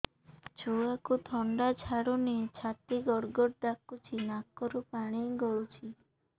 ଛୁଆକୁ ଥଣ୍ଡା ଛାଡୁନି ଛାତି ଗଡ୍ ଗଡ୍ ଡାକୁଚି ନାକରୁ ପାଣି ଗଳୁଚି